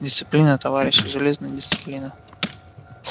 дисциплина товарищи железная дисциплина